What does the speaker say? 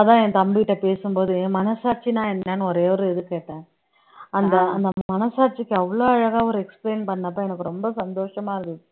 அதான் என் தம்பிட்ட பேசும்போது என் மனசாட்சின்னா என்னன்னு ஒரே ஒரு இது கேட்டேன் அந்த அந்த மனசாட்சிக்கு அவ்ளோ அழகா ஒரு explain பண்ணப்ப எனக்கு ரொம்ப சந்தோஷமா இருந்தது